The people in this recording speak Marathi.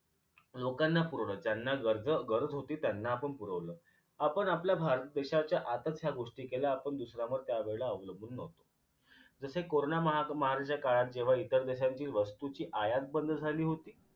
लोकांना ज्यांना गरज गरज होती त्यांना आपण पुरवलं आपण आपल्या भारत देशाच्या गोष्टी केल्या आपण दुसऱ्यावर त्यावेळेला अवलंबून न्हवतो जसे corona महा महामारीच्या काळात जेव्हा इतर देशांची वस्तूंची आयात बंद झाली होती